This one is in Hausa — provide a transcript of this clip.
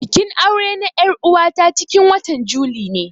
Bikin aure na er'uwa ta cikin watan juli ne.